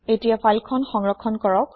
এতিয়া ফাইল খন সংৰক্ষণ কৰক